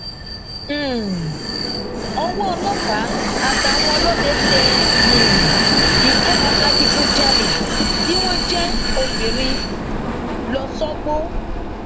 um ọwọ ọlọpàá àtàwọn ọlọdẹ tẹ um ikọ adigunjalè tí wọn jẹ obìnrin lọṣọgbó